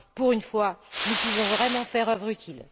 Pour une fois, nous pouvons vraiment faire œuvre utile.